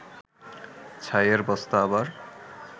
ছাইয়ের বস্তা আবার